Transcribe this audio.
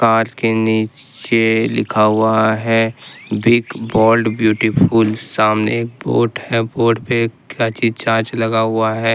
Car के नीचे लिखा हुआ है बिग बोल्ड ब्यूटीफुल सामने बोर्ड है बोर्ड में क्या चीज़ चार्ज लगा हुआ है ।